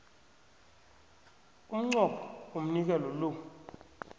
umnqopho womnikelo lo